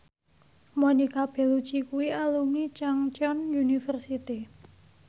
Monica Belluci kuwi alumni Chungceong University